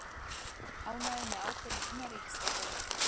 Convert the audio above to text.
Ánægðir með ákvörðun innanríkisráðherra